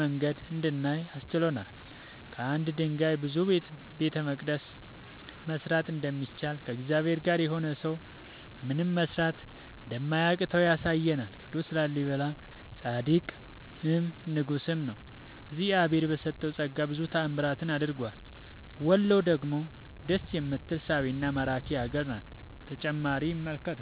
መንገድ እንድናይ አስችሎናል። ከአንድ ድንጋይ ብዙ ቤተመቅደስ መስራት እንደሚቻል ከእግዚአብሔር ጋር የሆነ ሰው ምንም መስራት እንደማያቅተው ያሳየናል ቅዱስ ላሊበላ ፃድቅም ንጉስም ነው። እግዚአብሄር በሰጠው ፀጋ ብዙ ታዕምራትን አድርጓል ውሎ ደግሞ ደስ የምትል ሳቢና ማራኪ ሀገር ናት።…ተጨማሪ ይመልከቱ